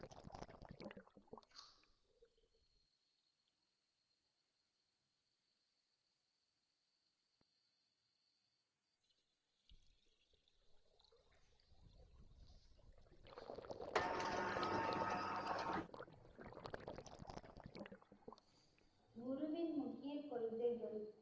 குருவின் முக்கிய கொள்கைகள்.